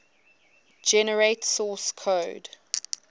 generate source code